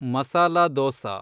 masala dosa